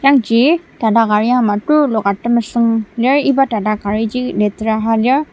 yangji tata kari ama tuluka temesüng lir iba tata kariji litera ha lir.